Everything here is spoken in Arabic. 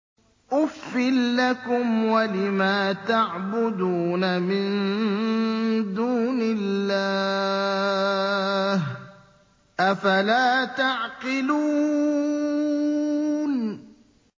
أُفٍّ لَّكُمْ وَلِمَا تَعْبُدُونَ مِن دُونِ اللَّهِ ۖ أَفَلَا تَعْقِلُونَ